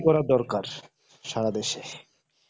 উন্নতি করার দরকার সারা দেশে